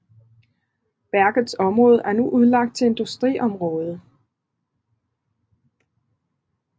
Værkets område er nu udlagt til industriområde